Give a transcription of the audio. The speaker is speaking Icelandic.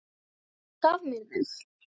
Hún gaf mér þau.